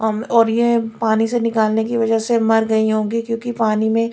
और ये पानी से निकालने की वजह से मर गई होंगी क्योंकि पानी में--